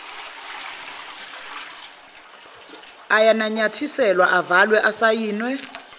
ayananyathiselwa avalwe asayinwe